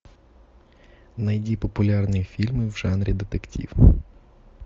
найди популярные фильмы в жанре детектив